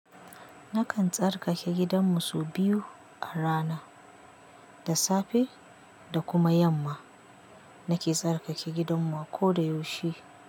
Nakan tsarkake gidanmu so biyu a rana, da safe da kuma yamma nake tsarkake gidanmu ako da yaushe.